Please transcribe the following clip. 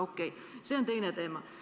Okei, see on teine teema.